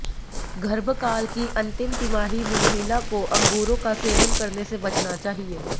गर्भकाल की अंतिम तिमाही में महिला को अंगूरों का सेवन करने से बचना चाहिए